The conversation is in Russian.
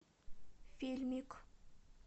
фильмик